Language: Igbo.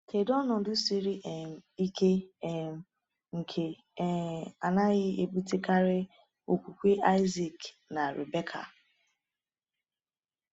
Kedu ọnọdụ siri um ike um nke um anaghị ebutekarị okwukwe Isaac na Rebekah?